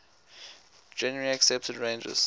generally accepted ranges